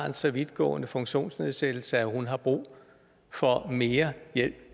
en så vidtgående funktionsnedsættelse at hun har brug for mere hjælp